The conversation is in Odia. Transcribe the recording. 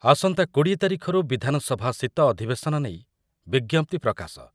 ଆସନ୍ତା କୋଡିଏ ତାରିଖରୁ ବିଧାନ ସଭା ଶୀତ ଅଧିବେଶନ ନେଇ ବିଜ୍ଞପ୍ତି ପ୍ରକାଶ